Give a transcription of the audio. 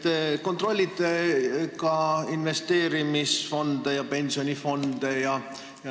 Te kontrollite ka investeerimisfonde ja pensionifonde.